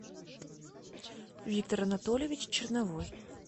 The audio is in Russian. виктор анатольевич черновой